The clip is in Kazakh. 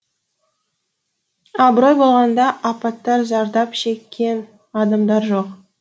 абырой болғанда апаттан зардап шеккен адамдар жоқ